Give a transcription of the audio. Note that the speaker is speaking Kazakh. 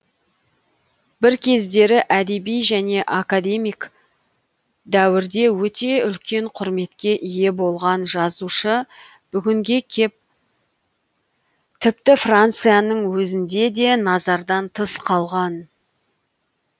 бір кездері әдеби және академик дәуірде өте үлкен құрметке ие болған жазушы бүгінге кеп тіпті францияның өзінде де назардан тыс қалған